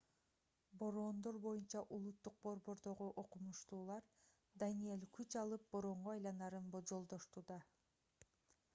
бороондор боюнча улуттук борбордогу окумуштуулар даниэль күч алып бороонго айланарын болжолдошту